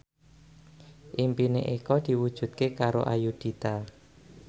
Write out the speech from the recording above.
impine Eko diwujudke karo Ayudhita